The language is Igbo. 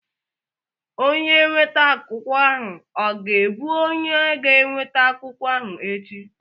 Onye nweta akụkọ ahụ ọ ga-abụ onye ga-eweta akụkọ ahụ echi?